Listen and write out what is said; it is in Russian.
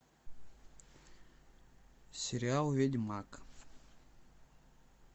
сериал ведьмак